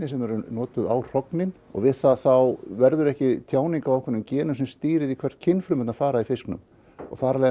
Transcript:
við notum á hrognin og við það þá verður ekki tjáning á ákveðnum genum sem stýrir því hvert kynfrumurnar fara í fisknum og